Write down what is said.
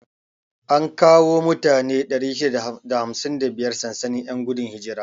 An kawo mutane 655 sansanin 'yan gudun hijira.